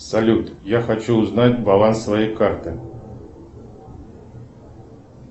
салют я хочу узнать баланс своей карты